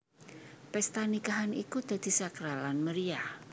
Pesta nikahan iku dadi sakral lan meriyah